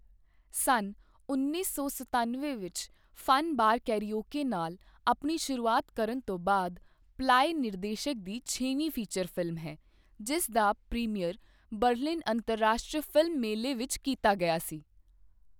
ਸੰਨ ਉੱਨੀ ਸੌ ਸਤਾਨਵੇਂ ਵਿੱਚ 'ਫਨ ਬਾਰ ਕਰਾਓਕੇ' ਨਾਲ ਆਪਣੀ ਸ਼ੁਰੂਆਤ ਕਰਨ ਤੋਂ ਬਾਅਦ ਪਲਾਏ ਨਿਰਦੇਸ਼ਕ ਦੀ ਛੇਵੀਂ ਫੀਚਰ ਫ਼ਿਲਮ ਹੈ, ਜਿਸ ਦਾ ਪ੍ਰੀਮੀਅਰ ਬਰਲਿਨ ਅੰਤਰਰਾਸ਼ਟਰੀ ਫ਼ਿਲਮ ਮੇਲੇ ਵਿੱਚ ਕੀਤਾ ਗਿਆ ਸੀ।